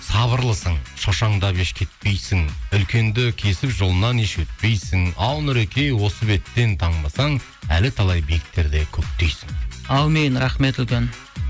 сабырлысың шошаңдап еш кетпейсің үлкенді кесіп жолынан еш өтпейсің ал нұреке осы беттен танбасаң әлі талай биіктерде көктейсің әумин рахмет үлкен